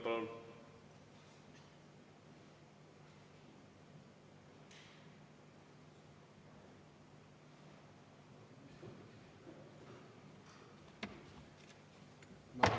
Palun!